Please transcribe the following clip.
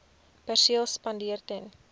perseel spandeer ten